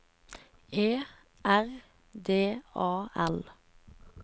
E R D A L